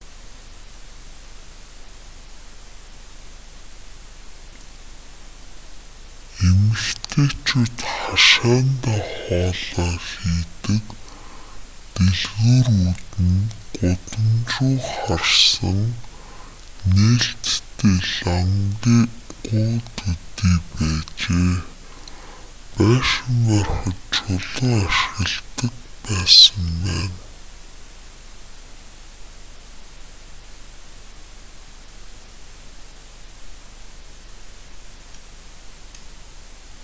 эмэгтэйчүүд хашаандаа хоолоо хийдэг дэлгүүрүүд нь гудамж руу харсан нээлттэй лангуу төдий байжээ байшин барихад чулуу ашигладаг байсан байна